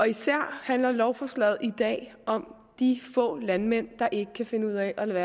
især handler lovforslaget i dag om de få landmænd der ikke kan finde ud af at lade